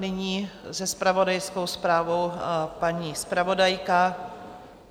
Nyní se zpravodajskou zprávou paní zpravodajka.